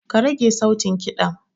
Karage sautin ƙidan.